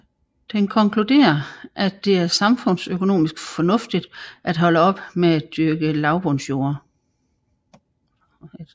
Den konkluderer at det er samfundsøkonomisk fornuftigt at holde op med at dyrke lavbundsjorder